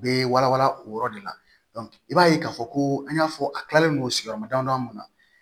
U bɛ wala wala o yɔrɔ de la i b'a ye k'a fɔ ko an y'a fɔ a kilalen don sigiyɔrɔma damadamani ma